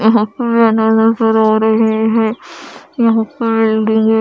यहा पर मेना नजर आ रहे है यहा पर है।